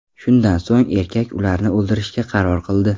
Shundan so‘ng erkak ularni o‘ldirishga qaror qildi.